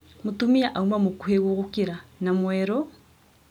Mũtumia auma mũkuhĩ gũgũkĩra na mwerũ,